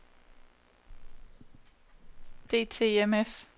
DTMF